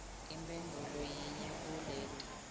imphendvulo yinye kuleti